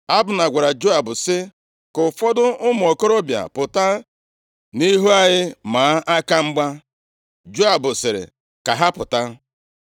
Abna gwara Joab sị, “Ka ụfọdụ ụmụ okorobịa pụta nʼihu anyị maa aka mgba.” Joab sịrị, “Ka ha pụta.”